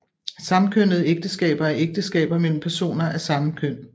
Samkønnede ægteskaber er ægteskaber mellem personer af samme køn